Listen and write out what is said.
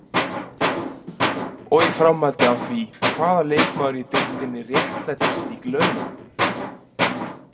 Og í framhaldi af því: Hvaða leikmaður í deildinni réttlætir slík laun?